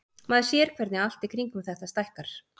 Maður sér hvernig allt í kringum þetta stækkar.